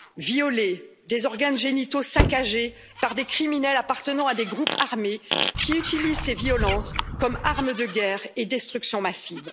violées, des organes génitaux saccagés par des criminels appartenant à des groupes armés, qui utilisent ces violences comme arme de guerre et de destruction massive.